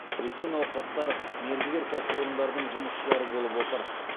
өзге науқастар мердігер кәсіпорындардың жұмысшылары болып отыр